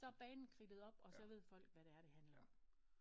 Så er banen kridtet op og så ved folk hvad det er det handler om